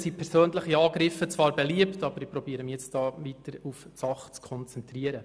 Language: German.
Dann sind persönliche Angriffe zwar beliebt, aber sich versuche mich hier weiter auf die Sache zu konzentrieren.